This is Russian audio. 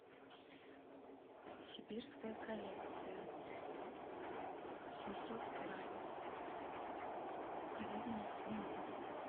сибирская коллекция семьсот грамм говядина свинина